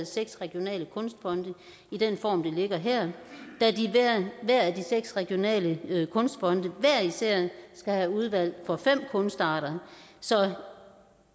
seks regionale kunstfonde i den form det ligger her da de seks regionale kunstfonde hver især skal have udvalg for fem kunstarter så